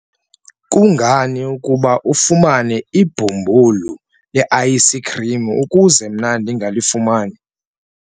kungani ukuba afumane ibhumbulu le-ayisikhrim ukuze mna ndingalifumani?